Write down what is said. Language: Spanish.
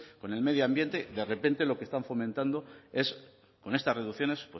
con el medio ambiente de repente lo que están fomentando es con estas reducciones